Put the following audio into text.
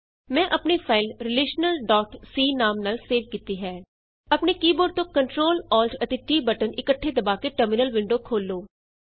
ਮੈਂ ਆਪਣੀ ਫਾਈਲ ਰਿਲੇਸ਼ਨਲਸੀ ਨਾਮ ਨਾਲ ਸੇਵ ਕੀਤੀ ਹੈ ਆਪਣੇ ਕੀ ਬੋਰਡ ਤੋਂ Ctrl Alt and T button ਇੱਕਠੇ ਦਬਾ ਕੇ ਟਰਮਿਨਲ ਵਿੰਡੋ ਖੋਲ੍ਹੋ